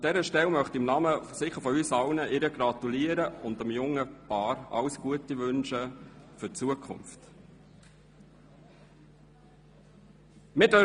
An dieser Stelle möchte ich ihr in unser aller Namen gratulieren und der jungen Familie alles Gute für die Zukunft wünschen. .